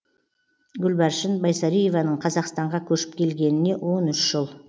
гүлбаршын байсариеваның қазақстанға көшіп келгеніне он үш жыл